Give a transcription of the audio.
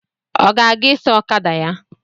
Ọ ga-eje ịsa okada ya